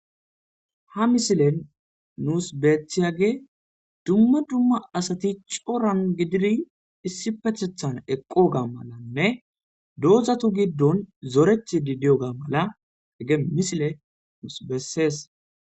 ha misilen nuus betiyage dumma dumma asati cooran gididi issi petethan eqqo ga malanne doozatu giddon zoretidi diyoga mala ege misile nuus bessees